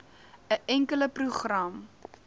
n enkele program